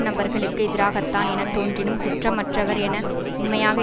நபர்களுக்கு எதிராகத்தான் என தோன்றினும் குற்றமற்றவர் என உண்மையாக